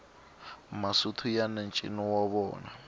masotho yani ncino wa vona